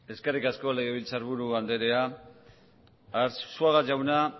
eskerrik asko legebiltzarburu andrea arzuaga jauna